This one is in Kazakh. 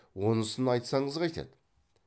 онысын айтсаңыз қайтеді